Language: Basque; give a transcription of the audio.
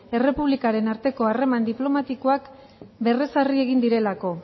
errepublikaren arteko harreman diplomatikoak berrezarri egin direlako